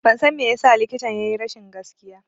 Ban san me yasa likitan ya yi rashin gaskiya